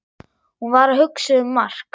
Hún var að hugsa um Mark.